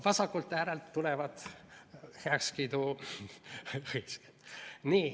Vasakult äärelt tulevad heakskiiduhõisked.